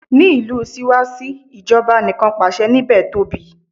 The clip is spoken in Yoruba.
Ní ìlú Síwásí, ìjọba Anìkanpàṣẹ níbè tóbi.